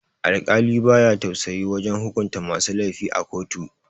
Alkali baya tausayi wajan hukunta masu laifi a kotu